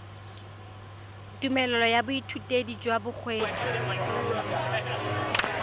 tumelelo ya boithutedi jwa bokgweetsi